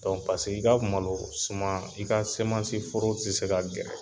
Dɔnku paseke i ka malo suman i ka semansi foro te se ka gɛrɛ